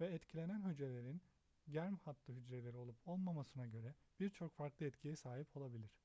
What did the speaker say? ve etkilenen hücrelerin germ hattı hücreleri olup olmamasına göre bir çok farklı etkiye sahip olabilir